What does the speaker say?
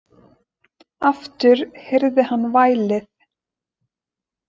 Aftur heyrði hann vælið.